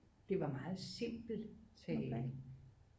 Det var meget simpel tale